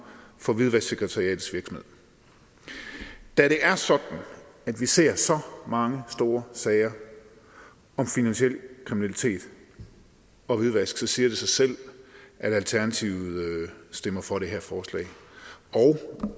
for hvidvasksekretariatets virksomhed da det er sådan at vi ser så mange store sager om finansiel kriminalitet og hvidvask siger det sig selv at alternativet stemmer for det her forslag